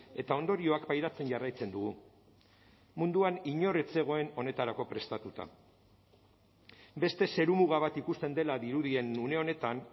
eta ondorioak pairatzen jarraitzen dugu munduan inor ez zegoen honetarako prestatuta beste zerumuga bat ikusten dela dirudien une honetan